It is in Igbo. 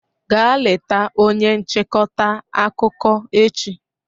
Gaa leta onye nchịkọta akụkọ echi